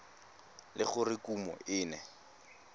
le gore kumo e ne